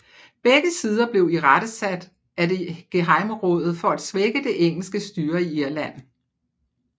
Begge sider blev irettesat af det gehejmerådet for at svække det engelske styre i Irland